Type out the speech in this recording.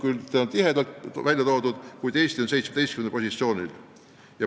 Üldiselt on slaidil skaala väga tihe, Eesti on 17. positsioonil.